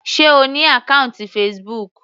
Sé O ní àkọ́ùntì Facebook.